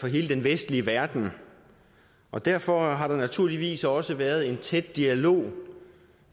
hele den vestlige verden og derfor har der naturligvis også været en tæt dialog